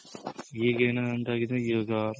ಈಗೇನು ಅಂತಾಗಿದೆ ಇವಾಗ